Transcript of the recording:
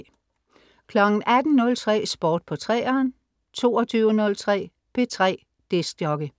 18.03 Sport på 3'eren 22.03 P3 DJ